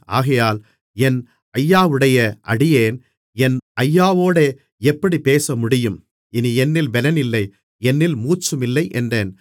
ஆகையால் என் ஐயாவுடைய அடியேன் என் ஐயாவோடே எப்படிப் பேசமுடியும் இனி என்னில் பெலனில்லை என்னில் மூச்சுமில்லை என்றேன்